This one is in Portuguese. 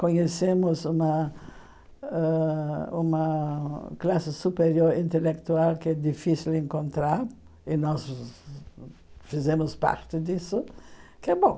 Conhecemos uma ãh uma classe superior intelectual que é difícil encontrar, e nós fizemos parte disso, que é bom.